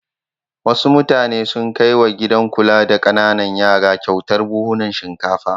Wasu mutane sun kai wa gidan kula da ƙananan yara kyautar buhhunan shinkafa.